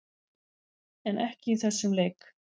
En ekki í þessum leik.